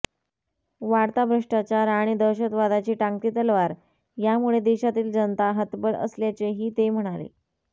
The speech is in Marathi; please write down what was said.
वाढता भ्रष्टाचार आणि दहशतवादाची टांगती तलवार यामुळे देशातील जनता हतबल असल्याचेहीते म्हणाले